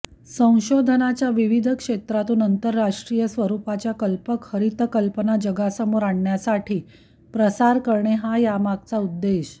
संशोधनाच्या विविध क्षेत्रांतून आंतरराष्ट्रीय स्वरूपाच्या कल्पक हरित कल्पना जगासमोर आणण्यासाठी प्रसार करणे हा यामागचा उद्देश